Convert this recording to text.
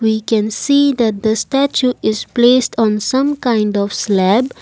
we can see that the statue is placed on some kind of slab.